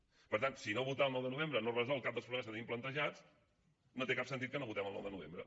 per tant si no votar el nou de novembre no resol cap dels problemes que tenim plantejats no té cap sentit que no votem el nou de novembre